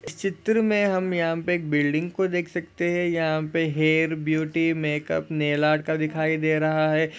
इस चित्र मे यहाँ पे एक बिल्डिंग को देख सकते है यहाँ पे हेअरब्यूटी मेकअपनैल आर्ट का दिखाई दे रहा है।